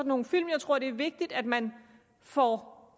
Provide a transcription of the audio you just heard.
nogle film jeg tror det er vigtigt at man får